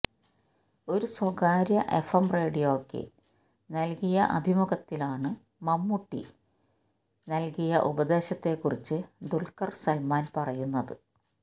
ഒരു സ്വകാര്യ എഫ്എം റേഡിയോയ്ക്ക് നല്കിയ അഭിമുഖത്തിലാണ് മമ്മൂട്ടി നല്കിയ ഉപദേശത്തെ കുറിച്ച് ദുല്ഖര് സല്മാന് പറയുന്നത്